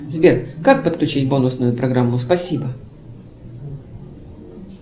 сбер как подключить бонусную программу спасибо